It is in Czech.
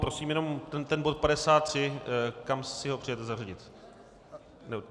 Prosím jenom - ten bod 53 - kam si ho přejete zařadit?